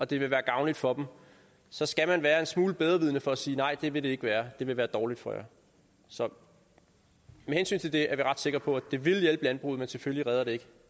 det vil være gavnligt for dem så skal man være en smule bedrevidende for at sige nej det vil det ikke være det vil være dårligt for jer så med hensyn til det er vi ret sikre på at det vil hjælpe landbruget men selvfølgelig redder det